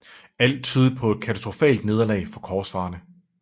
Alt tydede på et katastrofalt nederlag for korsfarerne